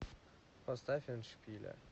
поставь эндшпиля